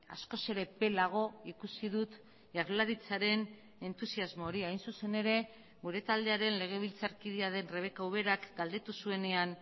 askoz ere epelago ikusi dut jaurlaritzaren entusiasmo hori hain zuzen ere gure taldearen legebiltzarkidea den rebeka uberak galdetu zuenean